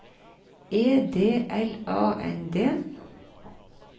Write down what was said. E D L A N D